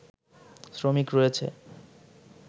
শ্রমিক রয়েছে